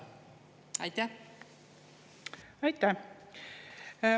Aitäh!